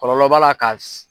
Kɔlɔlɔ b'a ka